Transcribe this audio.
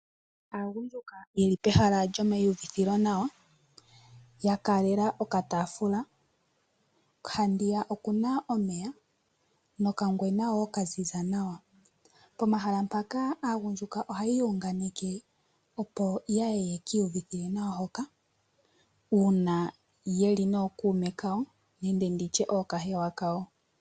Aagundjuka ye li pehala lyomaiuvithilonawa, ya kaalela okataafula, haniya oku na omeya, nokanwena woo kaziza nawa. Pomahala mpaka aagundjuka oha ya iunganeke opo yaye ye ki uvithile nawa hoka, uuna ye li nookuume kawo nenge nditye ookahewa kawo.